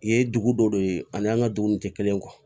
Ye dugu dɔ de ye ani an ka dugu nin tɛ kelen ye